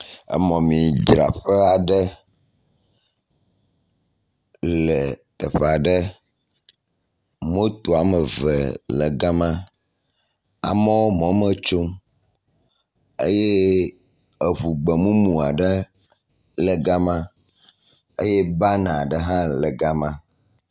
Emɔmidzraƒea ɖe. Le teƒea ɖe, motoa me eve le gama. Amewo mɔ me tsom eye eŋu gbemumu aɖe le gama eye ban aɖe hã le gama.